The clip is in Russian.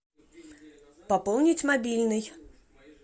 пополнить мобильный